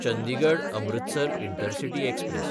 चंदिगड–अमृतसर intercity express